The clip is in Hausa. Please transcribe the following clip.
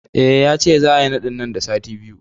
Eh, yace za'a yi naɗin nan da sati biyu